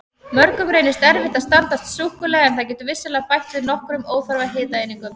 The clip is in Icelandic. Mörgum reynist erfitt að standast súkkulaði en það getur vissulega bætt við nokkrum óþarfa hitaeiningum.